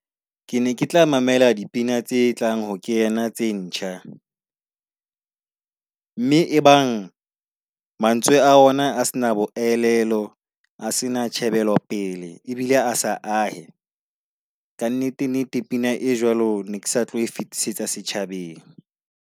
Ke ne ke tla mamela dipina tse tlang ho kena tse ntjha . Mme ebang mantswe a ona a se na bo elelo, a se na tjhebelo pele ebile a sa ae. Ka nnete, nnete, pina e jwalo ne ke sa tlo e fetisetsa setjhabeng.